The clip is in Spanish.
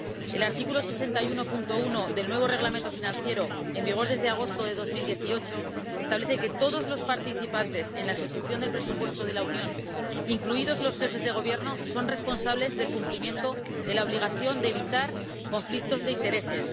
El artículo 61, apartado 1, del nuevo Reglamento Financiero, en vigor desde agosto de 2018, establece que todos los participantes en la ejecución del presupuesto de la Unión, incluidos los jefes de Gobierno, son responsables del cumplimiento de la obligación de evitar conflictos de intereses.